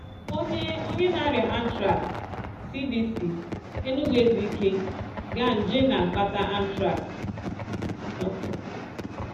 Onye Onye na-arịa anthrax: CDC, Enugu-Ezike, Ga.; nje na-akpata anthrax: © Dr